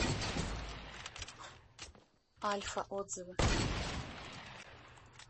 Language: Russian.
альфа отзывы